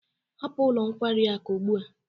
Hapụ ụlọ nkwari akụ ugbu a.